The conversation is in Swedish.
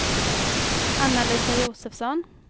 Anna-Lisa Josefsson